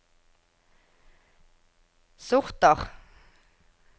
sorter